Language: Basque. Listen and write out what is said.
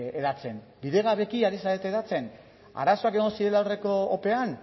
hedatzen bidegabeki ari zarete hedatzen arazoak egon zirela aurreko opean